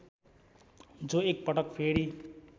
जो एकपटक फेरी